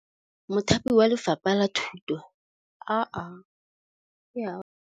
Mothapi wa Lefapha la Thutô o thapile basadi ba ba raro.